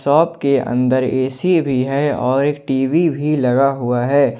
Shop के अंदर ऐसी भी है और एक टी_वी भी लगा हुआ है।